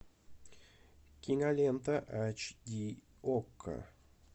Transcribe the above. кинолента эйч ди окко